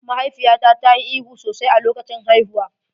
Mahaifiyata ta yi ihu sosai a lokacin haihuwa.